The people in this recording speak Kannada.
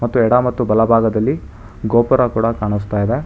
ಮತ್ತು ಎಡ ಮತ್ತು ಬಲಭಾಗದಲ್ಲಿ ಗೋಪುರ ಕೂಡ ಕಾಣಸ್ತಾ ಇದೆ.